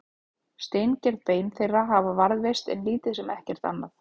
Steingerð bein þeirra hafa varðveist en lítið sem ekkert annað.